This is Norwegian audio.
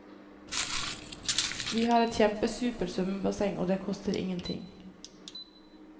Vi har et kjempesupert svømmebasseng og det koster ingenting.